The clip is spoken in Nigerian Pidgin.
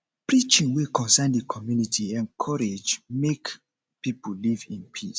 preaching wey concern di community encourage make um pipo live in peace um